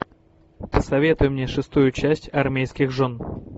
посоветуй мне шестую часть армейских жен